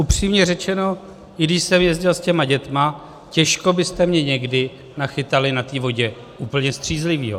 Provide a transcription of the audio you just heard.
Upřímně řečeno, i když jsem jezdil s těmi dětmi, těžko byste mě někdy nachytali na té vodě úplně střízlivého.